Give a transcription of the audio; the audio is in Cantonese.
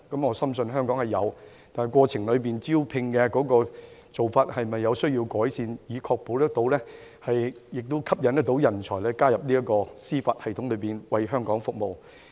我深信香港有人才，但招聘的過程和做法是否需要改善，以確保可以吸引人才加入司法機構，為香港服務？